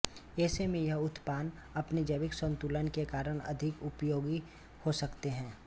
ऐसे में यह उत्पाद अपने जैविक संतुलन के कारण अधिक उपयोगी हो सकते हैं